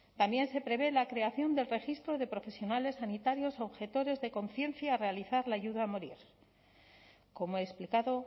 también se prevé la creación del registro de profesionales sanitarios objetores de conciencia al realizar la ayuda a morir como he explicado